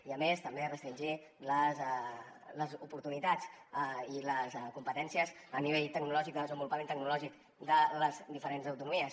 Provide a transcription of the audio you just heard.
i a més també restringir les oportunitats i les competències a nivell tecnològic de desenvolupament tecnològic de les diferents autonomies